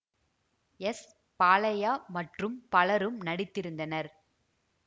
S Balaiah மற்றும் பலரும் நடித்திருந்தனர்